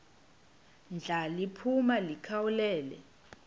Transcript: ndla liphuma likhawulele